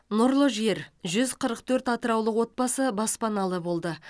нұрлы жер жүз қырық төрт атыраулық отбасы баспаналы болды